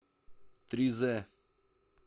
тризэ